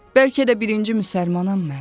Bəlkə də birinci müsəlmanam mən.